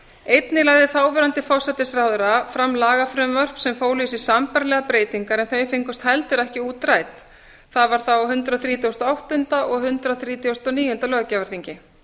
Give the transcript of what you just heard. einnig lagði þáverandi forsætisráðherra fram lagafrumvörp sem fólu í sér sambærilega breytingu en þau fengust heldur ekki útrædd það var þá á hundrað þrítugasta og áttunda og hundrað þrítugasta og níunda löggjafarþingi